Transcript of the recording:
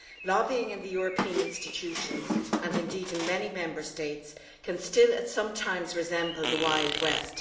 Lobbying in the European institutions and indeed in many Member States can still sometimes resemble the Wild West.